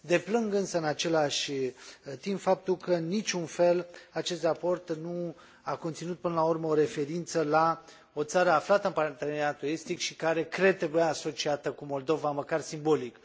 Deplâng însă în același timp faptul că, în niciun fel, acest raport nu a conținut până la urmă o referință la o țară aflată în Parteneriatul Estic și care, cred, trebuia asociat cu Moldova, măcar simbolic.